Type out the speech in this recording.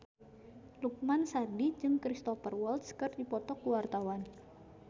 Lukman Sardi jeung Cristhoper Waltz keur dipoto ku wartawan